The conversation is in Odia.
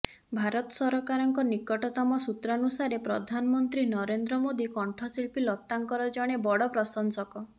ଭାରତ ସରକାରଙ୍କ ନିକଟତମ ସୂତ୍ରାନୁସାରେ ପ୍ରଧାନମନ୍ତ୍ରୀ ନରେନ୍ଦ୍ର ମୋଦି କଣ୍ଠଶୀଳ୍ପି ଲତାଙ୍କର ଜଣେ ବଡ ପ୍ରଶଂସକ